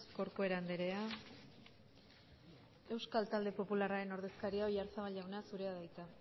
corcuera andrea euskal talde popularren ordezkaria oyarzabal jauna zurea da hitza